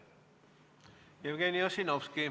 Jevgeni Ossinovski.